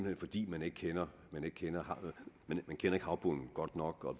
hen fordi man ikke kender kender havbunden godt nok og